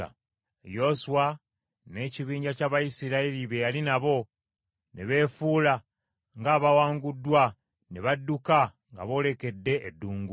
Yoswa n’ekibinja ky’Abayisirayiri be yali nabo ne beefuula ng’abawanguddwa ne badduka nga boolekedde eddungu.